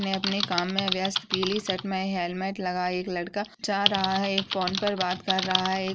अपने काम में व्यस्त पीली शर्ट में हेलमेट लगाये एक लड़का जा रहा है। एक फ़ोन पर बात कर रहा है। एक --